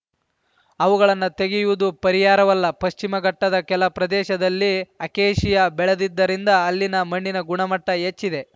ಅವುಗಳನ್ನು ತೆಗೆಯುವುದು ಪರಿಹಾರವಲ್ಲ ಪಶ್ಚಿಮಘಟ್ಟದ ಕೆಲ ಪ್ರದೇಶದಲ್ಲಿ ಅಕೇಷಿಯಾ ಬೆಳೆದಿದ್ದರಿಂದ ಅಲ್ಲಿನ ಮಣ್ಣಿನ ಗುಣಮಟ್ಟಹೆಚ್ಚಿದೆ